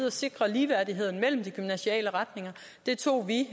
at sikre ligeværdigheden mellem de gymnasiale retninger det tog vi